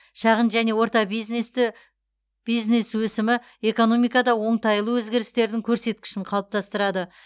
шағын және орта бизнесті бизнес өсімі экономикада оңтайлы өзгерістердің көрсеткішін қалыптастырады